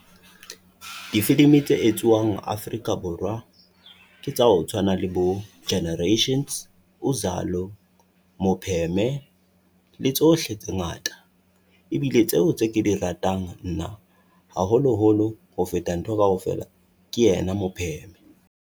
Difilimi tse etswuang Afrika Borwa ke tsa ho tswana le bo Generations, Uzalo, Mopheme le tsohle tse ngata. ebile tseo tse ke di ratang nna haholoholo ho feta ntho kaofela ke ena mopheme.